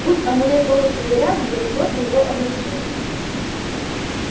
будь амулет полностью заряжен я бы просто его оглушил